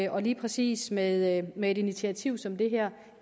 og lige præcis med med et initiativ som det her